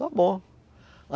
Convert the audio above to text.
Está bom.